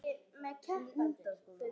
Aðrir fóru heim að sofa.